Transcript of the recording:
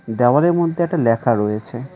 দেওয়ালের মদ্যে একটা লেখা রয়েছে।